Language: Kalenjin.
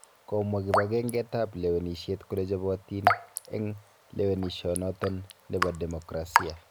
Komwaa kibangenget ab lewenisiet kole chobotiin en lewenisionoton nebo demokrasia.